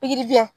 Pikirijɛ